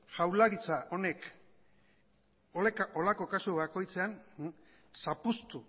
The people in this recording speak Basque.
jaurlaritza honek holako kasu bakoitzean zapuztu